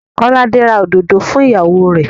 Kọ́láde ra òdòdó fún ìyàwó rẹ̀.